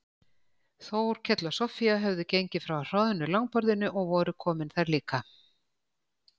Þórkell og Soffía höfðu gengið frá hroðnu langborðinu og voru komin þar líka.